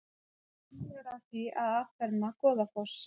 Unnið að því að afferma Goðafoss